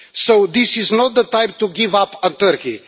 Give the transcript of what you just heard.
So this is not the time to give up on Turkey.